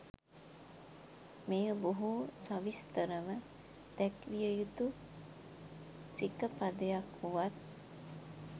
මෙය බොහෝ සවිස්තරව දැක්විය යුතු සිකපදයක් වුවත්